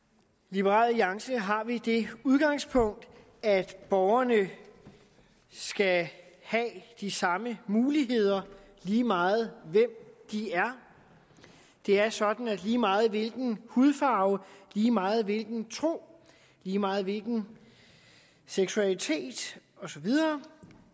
i liberal alliance har vi det udgangspunkt at borgerne skal have de samme muligheder lige meget hvem de er det er sådan at lige meget hvilken hudfarve lige meget hvilken tro lige meget hvilken seksualitet og så videre